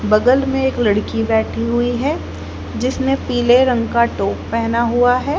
बगल मे एक लड़की बैठी हुई है जिसने पीले रंग का टॉप पहना हुआ है।